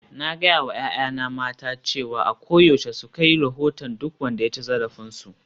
Na gaya wa 'ya'yana mata cewa a koyaushe su kai rahoton duk wanda ya ci zarafinsu